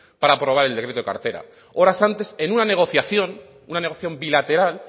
para aprobar el decreto de cartera horas antes en una negociación una negación bilateral